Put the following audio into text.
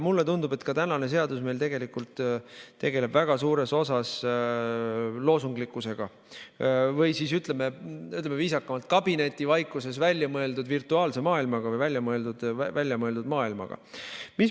Mulle tundub, et tänane seadus tegeleb väga suures osas loosunglikkusega, või ütleme viisakamalt, kabinetivaikuses väljamõeldud virtuaalse maailmaga või väljamõeldud maailmaga.